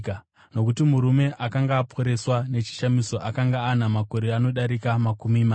Nokuti murume akanga aporeswa nechishamiso akanga ana makore anodarika makumi mana.